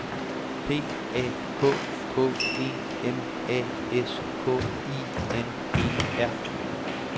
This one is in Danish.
P A K K E M A S K I N E R